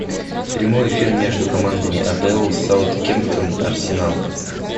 прямой эфир между командами апл саутгемптон арсенал